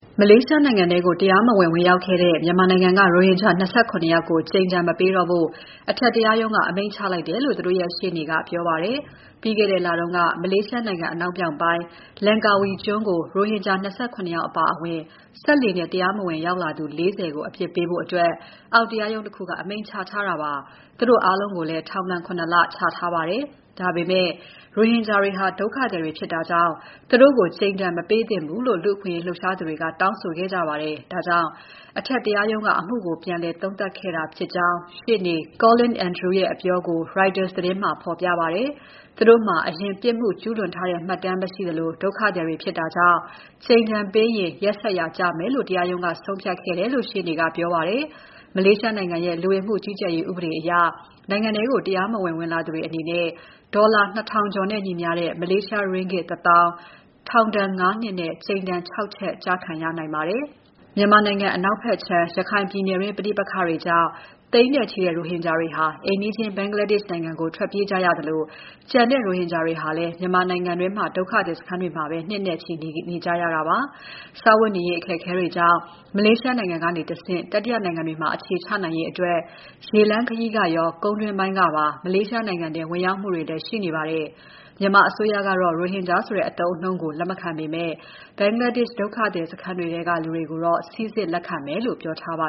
မလေးရှားနိုင်ငံထဲကို တရားမဝင် ဝင်ရောက်ခဲ့တဲ့ မြန်မာနိုင်ငံက ရိုဟင်ဂျာဒုက္ခသည် ၂၇ ယောက်ကို ကြိမ်ဒဏ် မပေးတော့ဖို့ အထက်တရားရုံးက အမိန့်ချလိုက်တယ်လို့ သူတို့ရဲ့ ရှေ့နေက ပြောပါတယ်။ ပြီးခဲ့တဲ့လတုန်းက မလေးရှားအနောက်မြောက်ပိုင်း Langkawi ကျွန်းကို ရိုဟင်ဂျာ ၂၇ ယောက်အပါအဝင် စက်လှေနဲ့ တရားမဝင်ရောက်လာသူ ၄၀ ကို အပြစ်ပေးဖို့ အောက်ရုံးတခုက အမိန့်ချထားတာပါ။ သူတို့အားလုံးကိုလည်း ထောင် ၇ လ ချထားပါတယ်။ ဒါပေမဲ့ ရိုဟင်ဂျာတွေဟာ ဒုက္ခသည်တွေဖြစ်တာကြောင့် သူတို့ကို ကြိမ်ဒဏ် မပေးသင့်ဘူးလို့ လူ့အခွင့်အရေး လှုပ်ရှားသူတွေက တောင်းဆိုခဲ့ကြပါတယ်။ ဒါကြောင့် အထက်တရားရုံးက အမှုကို ပြန်သုံးသပ်ခဲ့တာဖြစ်ကြောင်း ရှေ့နေ Collin Andrew ရဲ့ အပြောကို Reuters သတင်းမှာ ဖော်ပြပါတယ်။ သူတို့မှာ အရင် ပြစ်မှုကျူးလွန်ထားတဲ့ မှတ်တမ်းမရှိသလို၊ ဒုက္ခသည်တွေဖြစ်တာကြောင့် ကြိမ်ဒဏ်ပေးရင် ရက်စက်ရာ ကျမယ်လို့ တရားရုံးကဆုံးဖြတ်ခဲ့တယ်လို့ ရှေ့နေက ပြောပါတယ်။ မလေးရှားနိုင်ငံရဲ့ လူဝင်မှုကြီးကြပ်ရေးဥပဒေအရ နိုင်ငံထဲကို တရားမဝင် ဝင်လာသူတွေအနေနဲ့ ဒေါ်လာ ၂,၀၀၀ ကျော်နဲ့ညီမ ျှတဲ့ မလေးရှားရင်းဂစ် ၁၀,၀၀၀၊ ထောင်ဒဏ် ၅ နှစ်နဲ့ ကြိမ်ဒဏ် ၆ ချက် ကျခံရနိုင်ပါတယ်။ မြန်မာနိုင်ငံအနောက်ခြမ်း ရခိုင်ပြည်နယ်တွင်း ပဋိပက္ခတွေကြောင့် သိန်းနဲ့ချီတဲ့ ရိုဟင်ဂျာဒုက္ခသည်တွေဟာ အိမ်နီးချင်းဘင်္ဂလားဒေ့ရ်ှနိုင်ငံကို ထွက်ပြေးကြရသလို၊ ကျန်တဲ့ရိုဟင်ဂျာတွေဟာလည်း မြန်မာနိုင်ငံတွင်း ဒုက္ခသည်စခန်းတွေအတွင်းမှာပဲ နှစ်နဲ့ချီ နေထိုင်နေကြရတာပါ။ စားဝတ်နေရေး အခက်အခဲတွေကြောင့် မလေးရှားနိုင်ငံကတဆင့် တတိယနိုင်ငံတွေမှာ အခြေချနိုင်ရေးအတွက် ရေလမ်းခရီးကရော ကုန်းတွင်းပိုင်းကပါ မလေးရှားနိုင်ငံထဲ တရားမဝင် ဝင်ရောက်မှုတွေ ရှိနေပါတယ်။ မြန်မာအစိုးရကတော့ ရိုဟင်ဂျာဆိုတဲ့အသုံးအနှုန်းကို လက်မခံပေမဲ့ ဘင်္ဂလာဒေ့ရ်ှဒုက္ခသည်စခန်းက လူတွေကိုတော့ စိစစ်လက်ခံမယ်လို့ ပြောထားပါ